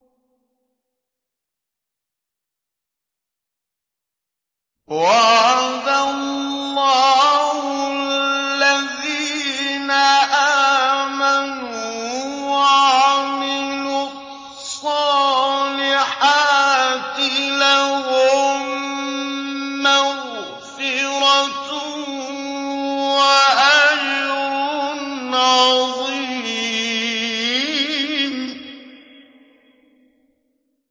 وَعَدَ اللَّهُ الَّذِينَ آمَنُوا وَعَمِلُوا الصَّالِحَاتِ ۙ لَهُم مَّغْفِرَةٌ وَأَجْرٌ عَظِيمٌ